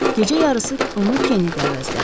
Gecə yarısı onu Keni əvəzlədi.